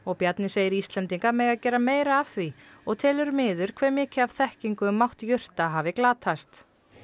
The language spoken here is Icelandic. Bjarni segir Íslendinga mega gera meira af því og telur miður hve mikið af þekkingu um mátt jurta hafi glatast